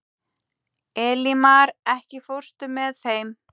Elímar, ekki fórstu með þeim?